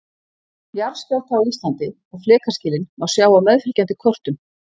Jarðskjálfta á Íslandi og flekaskilin má sjá á meðfylgjandi kortum.